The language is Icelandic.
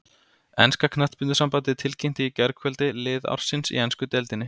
Enska knattspyrnusambandið tilkynnti í gærkvöld lið ársins í ensku deildinni.